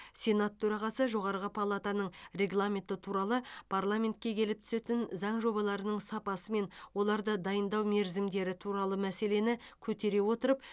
сенат төрағасы жоғарғы палатаның регламенті туралы парламентке келіп түсетін заң жобаларының сапасы мен оларды дайындау мерзімдері туралы мәселені көтере отырып